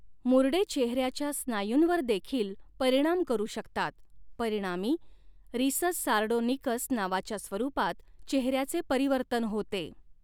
मुरडे चेहऱ्याच्या स्नायूंवर देखील परिणाम करू शकतात परिणामी रिसस सारडोनिकस नावाच्या स्वरूपात चेहऱ्याचे परिवर्तन होते.